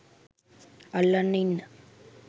අල්ලන් ඉන්න